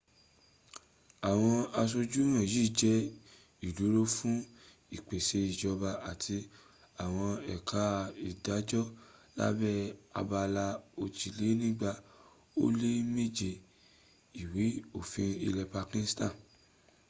àwọn asojú wọ̀nyí jẹ́ ìdúró fún ìpèse ìjọba àti àwọn ẹka ìdájọ́ lábẹ́ abala òjìlénígba ó lé méje ìwé òfin ilẹ̀ pakistan